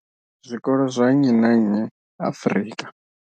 zwikolo zwa nnyi na nnyi Afrika.